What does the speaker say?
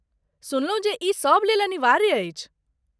सुनलहुँ जे ई सभ लेल अनिवार्य अछि।